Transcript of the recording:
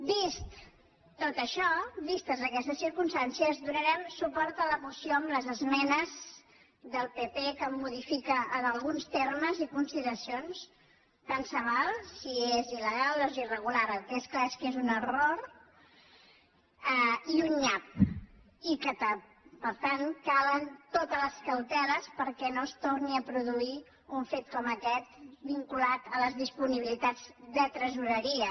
vist tot això vistes aquestes circumstàncies donarem suport a la moció amb les esmenes del pp que modifica en alguns termes i consideracions tant se val si és il·legal o és irregular el que és clar és que és un error i un nyap i que per tant calen totes les cauteles perquè no es torni a produir un fet com aquest vinculat a les disponibilitats de tresoreria